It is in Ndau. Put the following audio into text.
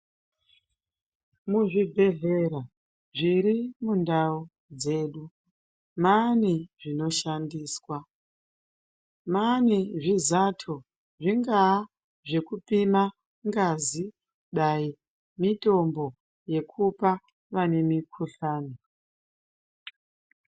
Muzvibhedhlera zvirimundau dzedu maane zvinoshandiswa, maane zvizato, zvingaa zvekupima ngazi, dai mitombo yekupa vane mikhuhlane.